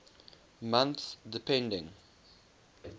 months depending